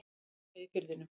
Og selja í Firðinum.